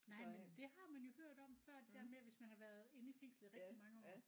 Nej men det har man jo hørt om før det der med hvis man har været inde i fængslet i rigtig mange år